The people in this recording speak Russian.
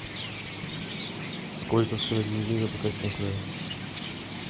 сколько стоит бензин в забайкальском крае